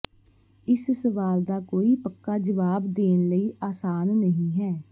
ਇਸ ਸਵਾਲ ਦਾ ਕੋਈ ਪੱਕਾ ਜਵਾਬ ਦੇਣ ਲਈ ਆਸਾਨ ਨਹੀ ਹੈ